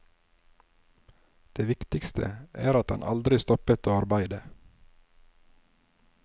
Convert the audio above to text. Det viktigste er at han aldri stoppet å arbeide.